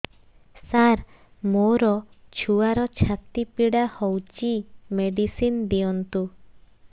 ସାର ମୋର ଛୁଆର ଛାତି ପୀଡା ହଉଚି ମେଡିସିନ ଦିଅନ୍ତୁ